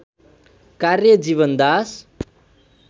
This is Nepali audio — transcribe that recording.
कार्य जीवनदास